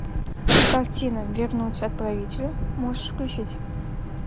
картина вернуть отправителю можешь включить